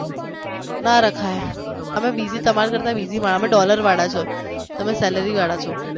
ના રખાય તમે busy તમારી કરતા busy મારે અમે dollar વાળા છે તમે salary વાળા છો